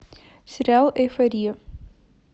сериал эйфория